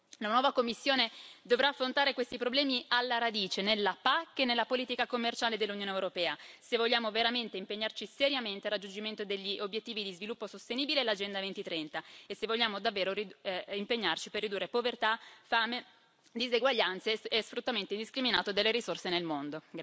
La nuova Commissione dovrà affrontare questi problemi alla radice, nella PAC e nella politica commerciale dell'Unione europea se vogliamo veramente impegnarci seriamente per il raggiungimento degli obiettivi di sviluppo sostenibile e dell'agenda 2030 e se vogliamo davvero impegnarci per ridurre povertà, fame, diseguaglianze e sfruttamento indiscriminato delle risorse nel mondo.